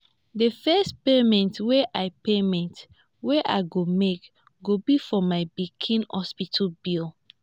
the first payment wey i payment wey i go make go be for my pikin hospital bill